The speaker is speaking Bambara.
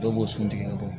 Dɔw b'o sun tigɛ